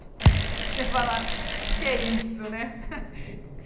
Você fala, o que que é isso né?